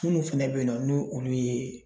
Minnu fɛnɛ bɛ yen nɔ ni olu ye